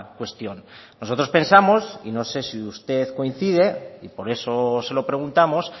cuestión nosotros pensamos y no sé si usted coincide y por eso se lo preguntamos